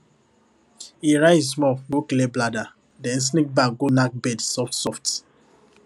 e rise small go clear bladder then sneak back go knack bed softsoft